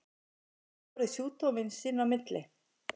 Geta menn borið sjúkdóminn sín á milli?